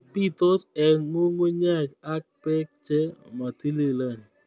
Bitos eng ngungunyek ak beek che matililen